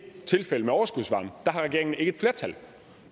tilfældet med overskudsvarmen har regeringen ikke et flertal